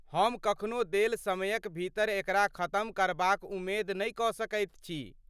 हम कखनो देल समयक भीतर एकरा खतम करबाक उमेद नहि कऽ सकैत छी।